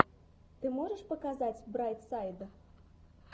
ты можешь показать брайт сайд